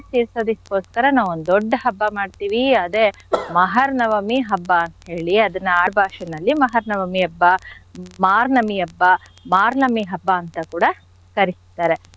ತೀರ್ಸೋದಕ್ಕೋಸ್ಕರ ನಾವೊಂದ್ ದೊಡ್ಡ ಹಬ್ಬ ಮಾಡ್ತಿವಿ ಅದೇ ಮಹಾರ್ನವಮಿ ಹಬ್ಬ ಅಂತ್ ಹೇಳಿ ಅದನ್ನ ಆಡ್ ಭಾಷೆನಲ್ಲಿ ಮಹಾನವಮಿ ಹಬ್ಬ ಮಾರ್ನಮಿ ಹಬ್ಬ ಮಾರ್ನಮಿ ಹಬ್ಬ ಅಂತ ಕೂಡ ಕರಿತಾರೆ.